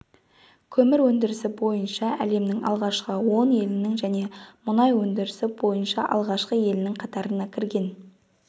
көмір өндірісі бойынша әлемнің алғашқы он елінің және мұнай өндірісі бойынша алғашқы елінің қатарына кірген